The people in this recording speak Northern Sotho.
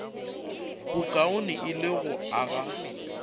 bokaone e le go aga